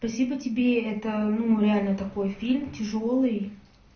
спасибо тебе это ну реально такой фильм тяжёлый